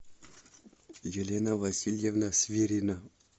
елена васильевна свирина